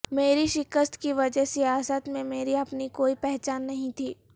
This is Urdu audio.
میری شکست کی وجہہ سیاست میں میری اپنی کوئی پہچان نہیں تھی